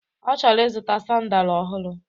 Ọ chọrọ ịzụta sandalu ọhụrụ